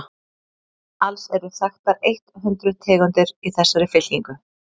alls eru þekktar eitt hundruð tegundir í þessari fylkingu